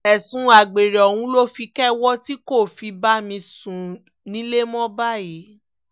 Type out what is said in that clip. ẹ̀sùn àgbèrè ọ̀hún ló fi kẹ́wọ́ tí kò fi bá mi sùn nílẹ̀ mọ́ báyìí